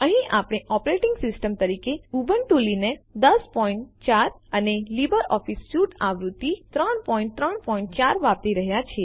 અહીં આપણે operating system તરીકે ઉબુન્ટૂ લીનક્સ ૧૦૦૪ અને લીબર ઓફીસ સ્યુટ આવૃત્તિ ૩૩૪ વાપરી રહ્યા છીએ